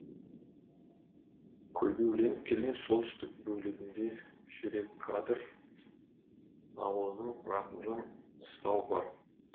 көлбеуленіп келген солтүстік бөлігінде жүрекадыр ауылының рақымжан қыстауы бар